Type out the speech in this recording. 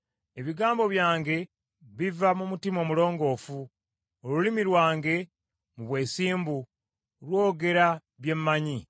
Ebigambo byange biva mu mutima omulongoofu; olulimi lwange, mu bwesimbu, lwogera bye mmanyi.